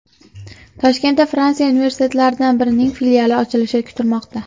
Toshkentda Fransiya universitetlaridan birining filiali ochilishi kutilmoqda.